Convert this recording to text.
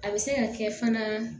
A bɛ se ka kɛ fana